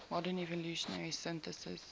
modern evolutionary synthesis